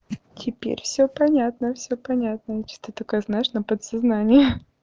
теперь всё понятно всё понятно что-то такое знаешь на подсознание